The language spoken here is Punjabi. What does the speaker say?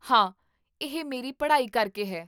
ਹਾਂ, ਇਹ ਮੇਰੀ ਪੜ੍ਹਾਈ ਕਰਕੇ ਹੈ